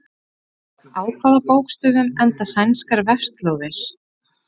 Á hvaða bókstöfum enda sænskar vefslóðir?